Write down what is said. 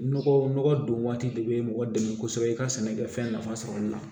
Nɔgɔ nɔgɔ don waati de bɛ mɔgɔ dɛmɛ kosɛbɛ i ka sɛnɛkɛfɛn nafa sɔrɔli la